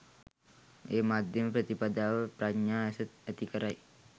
ඒ මධ්‍යම ප්‍රතිපදාව, ප්‍රඥා ඇස ඇති කරයි.